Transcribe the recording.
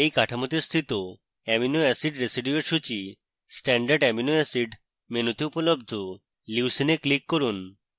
এই কাঠামোতে স্থিত অ্যামিনো অ্যাসিড রেসিডিউয়ের সূচী standard অ্যামিনো অ্যাসিড মেনুতে উপলব্ধ